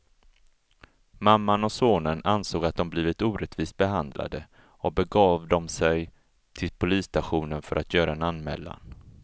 Mamman och sonen ansåg att de blivit orättvist behandlade och begav de sig till polisstationen för att göra en anmälan.